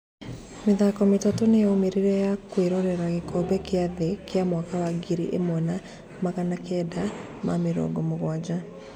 Mĩthako mĩtatũ nĩ yaumĩrire ya kũroerera gĩkombe kĩa thĩ kĩa mwaka wa ngiri ĩmwe wa magana kenda ma mĩrongomũguanja.